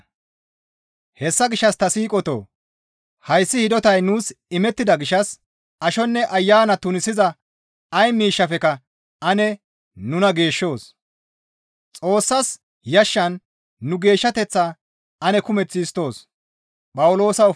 Hessa gishshas ta siiqotoo! Hayssi hidotay nuus imettida gishshas ashonne ayana tunisiza ay miishshafekka ane nuna geeshshoos; Xoossas yashshan nu geeshshateththaa ane kumeth histtoos.